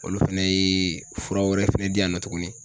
Olu fɛnɛ ye fura wɛrɛ fɛnɛ di yan nɔ tuguni